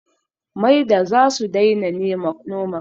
Maida zasu daina noma kabeji